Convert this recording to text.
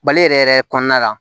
Mali yɛrɛ yɛrɛ kɔnɔna la